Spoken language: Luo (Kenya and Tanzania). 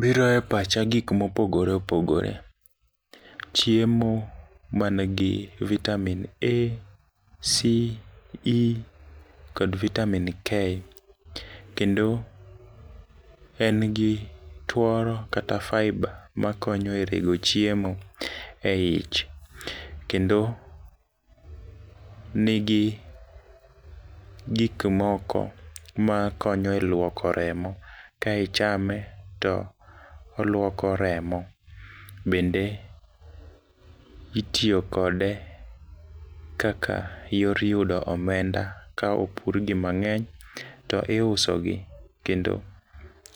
Biro e pacha gik mopogore opogore . Chiemo manigi vitamin A,C,E kod vitamin K kendo en gi tuoro kata fiber makonyo e riwo chiemo e ich kendo nigi gik moko makonyo e luoko remo ka ichame to oluoko remo. Bende itiyo kode kaka yor yudo omenda ka opur gi mang'eny to iuso gi kendo